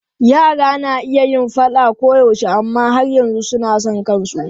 Yara na iya yin faɗa koyaushe amma har yanzu suna son kansu.